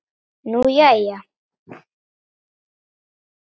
Nú, jæja.